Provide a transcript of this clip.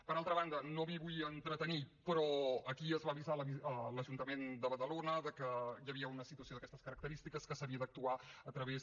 per altra banda no m’hi vull entretenir però aquí es va avisar l’ajuntament de badalona que hi havia una situació d’aquestes característiques que s’havia d’actuar a través